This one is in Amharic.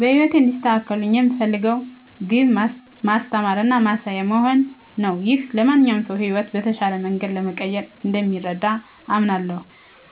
በህይወቴ እንዲሳኩልኝ የምፈልገው ግብ ማስተማር እና ማሳያ መሆን ነው። ይህ ለማንኛውም ሰው ሕይወትን በተሻለ መንገድ ለመቀየር እንደሚረዳ አምናለሁ።